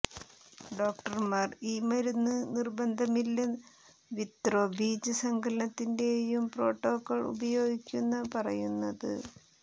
ഡോക്ടർമാർ ഈ മരുന്ന് നിർബന്ധമില്ല ൽ വിത്രൊ ബീജസങ്കലനനത്തിന്റേയും പ്രോട്ടോക്കോൾ ഉപയോഗിക്കുന്ന പറയുന്നത്